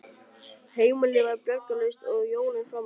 Heimilið var bjargarlaust og jólin framundan.